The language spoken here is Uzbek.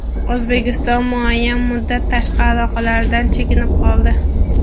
O‘zbekiston muayyan muddat tashqi aloqalardan chekinib qoldi.